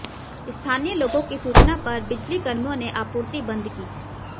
स्थानीय लोगों की सूचना पर बिजली कर्मियों ने आपूर्ति बंद की